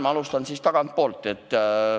Ma alustan tagantpoolt.